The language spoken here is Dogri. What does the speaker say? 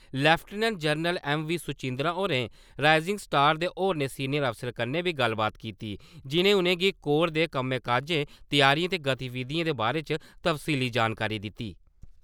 Lieutenant general M V. सुचैंदरा होरें राइजिंग स्टार दे होरनें सीनियर अफसरें कन्नै बी गल्लबात कीती , जि'नें उ'नेंगी कोर दे कम्मै काजै, त्यारियें ते गतिविधियें दे बारै च तफसीली जानकारी दित्ती ।